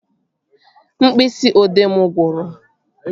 Mkpịsị odee mụ gwụrụ